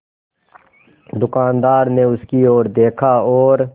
दुकानदार ने उसकी ओर देखा और